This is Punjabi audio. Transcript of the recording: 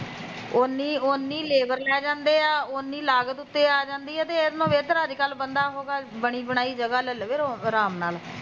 ਓਨੀ ਲੇਬਰ ਲੈ ਜਾਂਦੇ ਐ ਓਨੀ ਲਾਗਤ ਆ ਜਾਂਦੀ ਐ ਤੇ ਇਹਦੇ ਨਾਲੋਂ ਬੇਹਤਰ ਐ ਅੱਜ ਕੱਲ ਬਣੀ ਬਣਾਈ ਜਗਾ ਲੈ ਲੋ ਅਰਾਮ ਨਾਲ਼